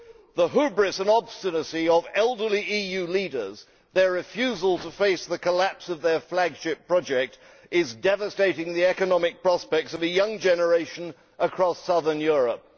The hubris and obstinacy of elderly EU leaders, their refusal to face the collapse of their flagship project is devastating the economic prospects of a young generation across southern Europe.